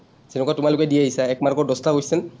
তেনেকুৱা তোমালোকে দি আহিছা এক mark দহটা question